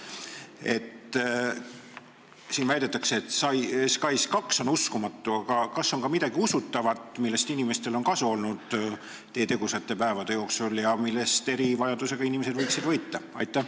Küsimuses väidetakse, et SKAIS2 on uskumatu, aga kas on teie tegusate päevade jooksul sündinud ka midagi usutavat, millest inimestel on kasu olnud ja millest eriti erivajadusega inimesed võiksid võita?